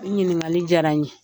Nin ɲininkali jara n ye.